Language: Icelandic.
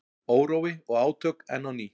Órói og átök enn á ný